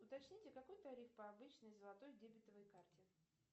уточните какой тариф по обычной золотой дебетовой карте